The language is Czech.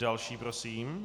Další prosím.